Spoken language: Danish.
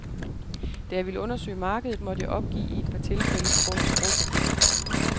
Da jeg ville undersøge markedet, måtte jeg opgive i et par tilfælde på grund af sprogforbistring.